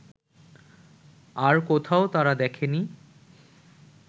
আর কোথাও তারা দেখেনি